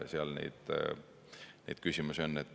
Seal neid küsimusi on.